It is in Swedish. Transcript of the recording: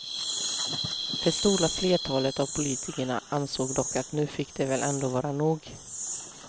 Det stora flertalet av politikerna ansåg dock att nu fick det väl ändå vara nog.